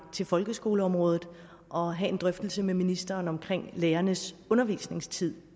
til folkeskoleområdet og have en drøftelse med ministeren om lærernes undervisningstid